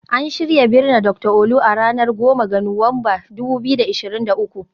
An shirya binne Dr Olu, a ranar 10 ga Nuwamba, 2023